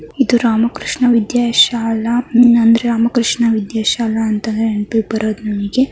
ಇದು ರಾಮಕೃಷ್ಣ ವಿದ್ಯಾ ಶಾಲಾ ಇದು ರಾಮಕೃಷ್ಣ ವಿದ್ಯಾ ಶಾಲಾ ಅಂತನೇ ನೆನ್ಪಿಗ್ ಬರೋದು ನಮ್ಗೆ .